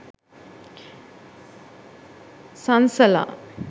sansala